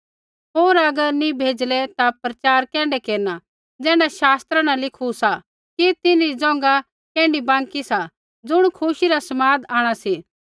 होर अगर नी भेजले ता प्रचार कैण्ढै केरना ज़ैण्ढा शास्त्रा न लिखू सा कि तिन्हरी ज़ोंघा कैण्ढी बाँकी सा ज़ुण खुशी रा समाद आंणा सी